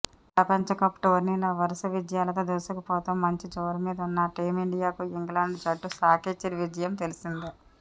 ప్రపంచ కప్ టోర్నీలో వరుస విజయాలతో దూసుకుపోతూ మంచి జోరుమీదున్న టీమిండియాకు ఇంగ్లాండ్ జట్టు షాకిచ్చిన విషయం తెలిసిందే